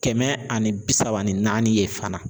Kɛmɛ ani bi saba ni naani ye fana.